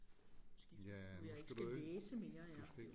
Skifte nu jeg ikke skal læse mere ja